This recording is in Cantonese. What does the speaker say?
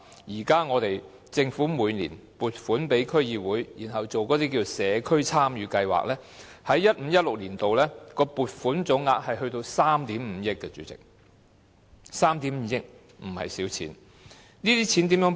主席，現時政府每年撥款予區議會進行社區參與計劃 ，2015-2016 年度的撥款總額高達3億 5,000 萬元，這不是小數目。